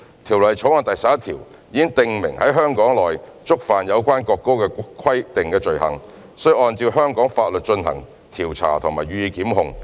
《條例草案》第11條已訂明在香港內觸犯有關國歌的規定的罪行，須按照香港法律進行調查及予以檢控。